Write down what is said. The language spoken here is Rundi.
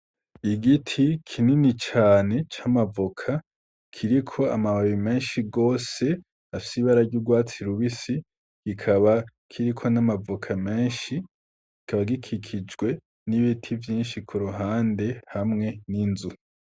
Igiti kinini cane c'amavoka kiriko amababi menshi gose afise ibara ry'urwatsi rubisi kikaba kiriko amavoka menshi kikaba gikikijwe n'ibiti vyinshi kuruhande hamwe n'inzu .